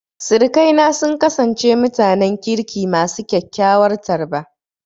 Sirikaina sun kasance mutanen kirki masu kyakkyawar tarba.